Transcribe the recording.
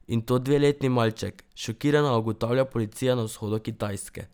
In to dveletni malček, šokirana ugotavlja policija na vzhodu Kitajske.